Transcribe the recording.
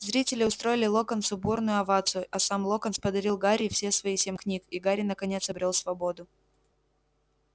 зрители устроили локонсу бурную овацию а сам локонс подарил гарри все свои семь книг и гарри наконец обрёл свободу